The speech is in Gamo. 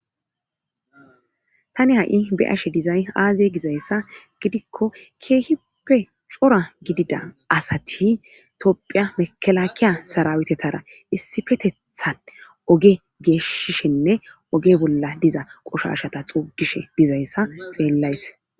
Tani ha'i beashe dizay aaze gizayssa gidikko keehipe cora gidida asati tophiya mekelaakiya sarawetetara issifetethan oge geeshishinne oge bolla diza qoshoshata xuugishe dizayssa xeellayse.